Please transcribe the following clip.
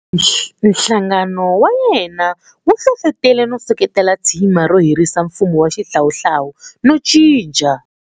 Nhlangano wa yena wu hlohlotele no seketela tsima ro herisa mfumo wa xihlawuhlawu no cinca.